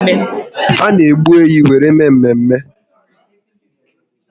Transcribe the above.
A na egbu ehi were eme mmemme